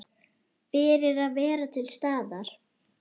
Fyrir að vera til staðar.